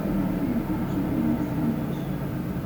афина включи бинанс инглиш